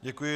Děkuji.